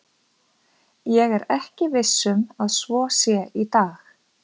Ég er ekki viss um að svo sé í dag.